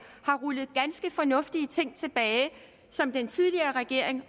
har rullet ganske fornuftig ting tilbage som den tidligere regering